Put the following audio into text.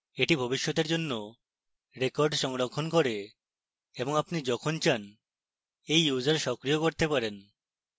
এটি ভবিষ্যতের জন্য records সংরক্ষণ করে এবং আপনি যখন চান এই user সক্রিয় করতে পারেন